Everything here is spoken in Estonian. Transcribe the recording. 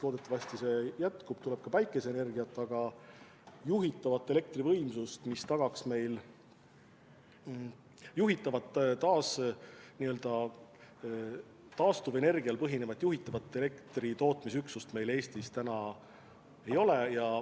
Loodetavasti see jätkub ja tuleb ka päikeseenergiat, aga piisavat taastuvenergial põhinevat juhitavat elektritootmisüksust meil Eestis täna ei ole.